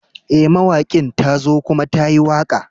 Eh, mawakin ta zo kuma ta yi waka.